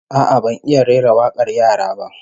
A'a, ban iya rera wakar yara ba